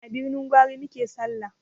A birnin gwari muke sallah